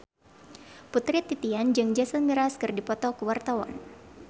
Putri Titian jeung Jason Mraz keur dipoto ku wartawan